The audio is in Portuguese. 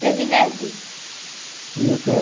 Teve netos? E o quê?